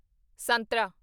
ਸੰਤਰਾ